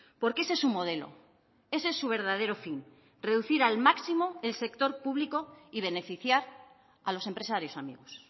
porque ese es su modelo ese es su verdadero fin reducir al máximo el sector público y beneficiar a los empresarios amigos